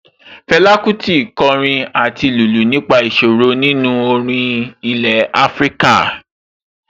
Fẹlá Kútì kọrin àti lùlù nípa ìṣòro nínú orin ilẹ̀ Afíríkà